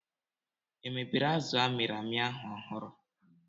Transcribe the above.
Emebere azụ a mịrị amị ahu ọhụrụ